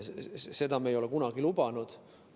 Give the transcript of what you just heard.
Seda me ei ole kunagi lubanud.